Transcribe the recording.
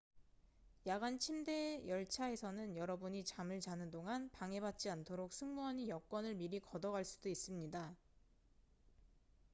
야간 침대 열차에서는 여러분이 잠을 자는 동안 방해받지 않도록 승무원이 여권을 미리 걷어 갈 수도 있습니다